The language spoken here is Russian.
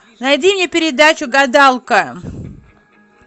найди мне передачу гадалка